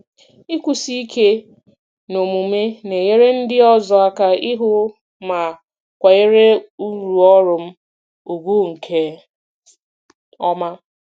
Ịkwụsi ike n'omume na-enyere ndị ọzọ aka ịhụ ma kwanyere uru ọrụ m ùgwù nke ọma.